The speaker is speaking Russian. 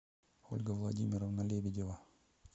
ольга владимировна лебедева